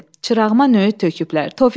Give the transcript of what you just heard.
Çırağıma nüyüt töküblər.